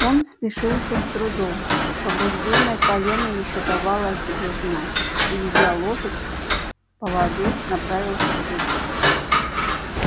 он спешился с трудом повреждённое колено ещё давало о себе знать и ведя лошадь в поводу направился к дочери